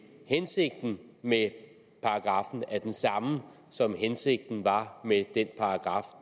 hensigten med paragraffen er den samme som hensigten var med den paragraf